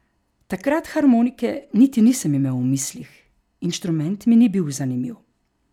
Takrat harmonike niti nisem imel v mislih, inštrument mi ni bil zanimiv.